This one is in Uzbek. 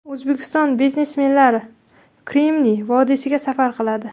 O‘zbekiston biznesmenlari Kremniy vodiysiga safar qiladi.